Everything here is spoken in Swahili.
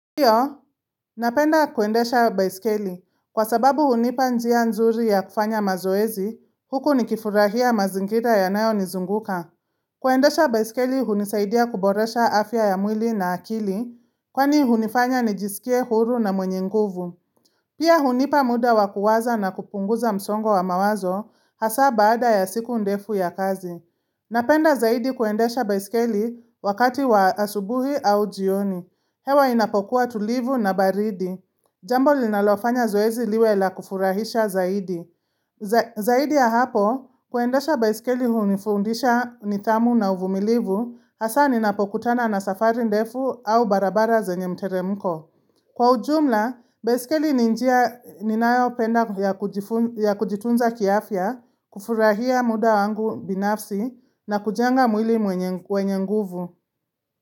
Pia, napenda kuendesha baisikeli. Kwa sababu hunipa njia nzuri ya kufanya mazoezi, huku nikifurahia mazingira yanayo nizunguka. Kuendesha baisikeli hunisaidia kuboresha afya ya mwili na akili, kwani hunifanya nijisikie huru na mwenye nguvu. Pia hunipa muda wakuwaza na kupunguza msongo wa mawazo hasa baada ya siku ndefu ya kazi. Napenda zaidi kuendesha baisikeli wakati wa asubuhi au jioni. Hewa inapokuwa tulivu na baridi. Jambo linalofanya zoezi liwe la kufurahisha zaidi. Zaidi ya hapo, kuendesha baisikeli hunifundisha nidhamu na uvumilivu, hasa ninapokutana na safari ndefu au barabara zenye mteremko. Kwa ujumla, besikeli ni njia ninayopenda ya kujitunza kiafya, kufurahia muda wangu binafsi na kujenga mwili mwenye wenye nguvu.